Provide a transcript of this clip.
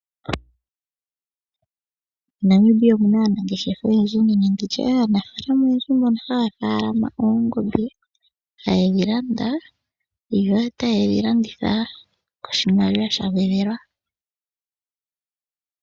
Mo Namibia omuna aanangeshefa oyendji nenge nditye aanafaalama oyendji mbono haya faalama oongombe hayedhi landa yo tayedhi landitha koshimaliwa sha gwedhelwa.